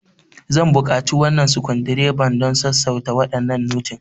Zan buƙaci wannan sukundireba don sassauta waɗannan notin.